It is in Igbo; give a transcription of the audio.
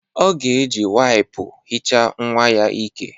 Ọ ga-eji waipu hicha nnwa ya ìkè